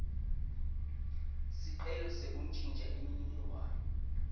sicelo sekuntjintja imininingwane